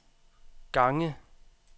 gange